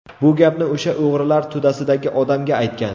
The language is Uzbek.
Bu gapni o‘sha o‘g‘rilar to‘dasidagi odamga aytgan.